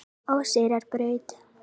Óseyrarbraut